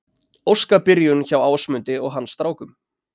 Óskabyrjun hjá Ásmundi og hans strákum